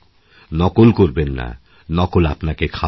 নকল করবেন না নকল আপনাকে খারাপ করে